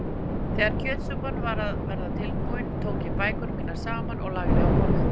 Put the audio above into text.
Þegar kjötsúpan var að verða tilbúin tók ég bækurnar mínar saman og lagði á borðið.